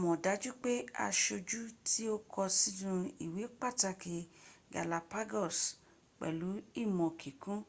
mọ̀ dájú pé aṣojú tí o kọ sínú ìwé pàtàkì galapagos pẹ̀lú ìmọ̀ kíkún